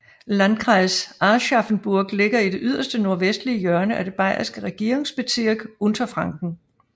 Landkreis Aschaffenburg ligger i det yderst nordvestlige hjørne af det bayerske Regierungsbezirk Unterfranken